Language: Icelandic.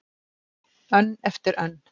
Önn eftir önn.